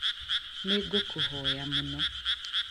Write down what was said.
Nĩ ngũkũhoya mũno